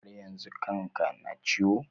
Har yanzu kan ka na ciwo?